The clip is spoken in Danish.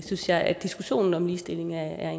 synes jeg at diskussionen om ligestilling er